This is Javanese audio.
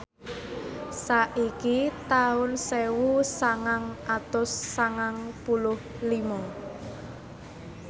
saiki taun sewu sangang atus sangang puluh lima